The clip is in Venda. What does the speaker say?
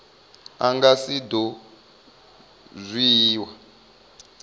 a nga si do dzhiiwa